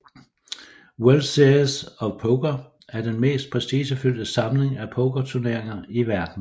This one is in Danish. World Series of Poker er den mest prestigefyldte samling af pokerturneringer i verden